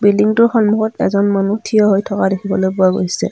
বিল্ডিংটোৰ সন্মুখত এজন মানুহ থিয় হৈ থকা দেখিবলৈ পৰা গৈছে।